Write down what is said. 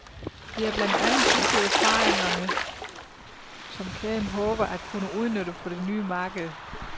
Det er blandt andet disse erfaringerne, som kæden håber at kunne udnytte på det nye marked.